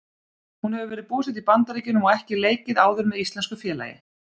Hún hefur verið búsett í Bandaríkjunum og ekki leikið áður með íslensku félagi.